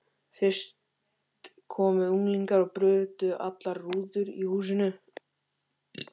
Fyrst komu unglingar og brutu allar rúður í húsinu.